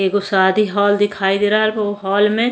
एगो शादी हॉल दिखाई दे रहा उ हॉल में।